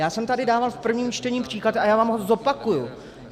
Já jsem tady dával v prvním čtení příklad a já vám ho zopakuji.